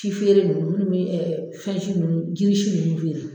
Si feere ninnu minnu bɛ fɛn si ninnu jiri si ninnu jiri sun ninnu